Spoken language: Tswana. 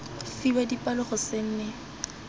fiwa dipalo go se nne